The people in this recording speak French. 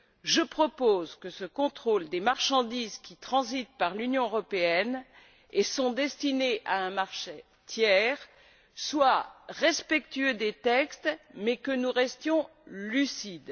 Je propose que ce contrôle des marchandises qui transitent par l'Union européenne et sont destinées à un marché tiers soit respectueux des textes, mais que nous restions lucides.